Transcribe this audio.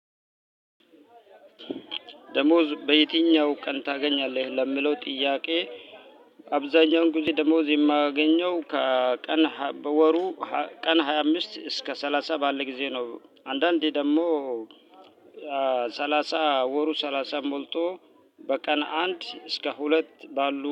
ደሞዝ በየትኛው ቀን ታገኛለህ? ለሚለው ጥያቄ አብዛኛውን ጊዜ ደሞዝ የማያገኘው ከቀን በወሩ ቀን ሃያ አምስት እስከ ሰላሳ ባለ ጊዜ ነው አንዳንዴ ደግሞ ሰላሳ ወሩ ሰላሳ ሞልቶ በቀን አንድ እስከ ሁለት ባሉ